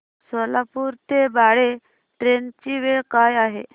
सोलापूर ते बाळे ट्रेन ची वेळ काय आहे